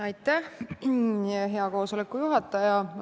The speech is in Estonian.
Aitäh, hea koosoleku juhataja!